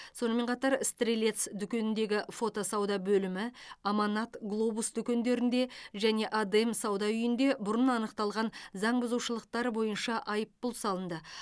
сонымен қатар стрелец дүкеніндегі фото сауда бөлімі аманат глобусдүкендерінде және адем сауда үйінде бұрын анықталған заңбұзушылықтар бойынша айыппұл салынды